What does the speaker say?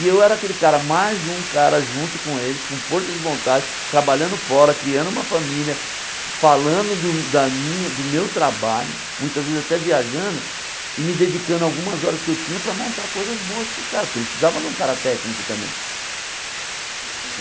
E eu era aquele cara, mais um cara junto com eles, com força de vontade, trabalhando fora, criando uma família, falando do da minha do meu trabalho, muitas vezes até viajando, e me dedicando algumas horas que eu tinha para montar coisas boas para o cara, porque eles precisavam de um cara técnico também.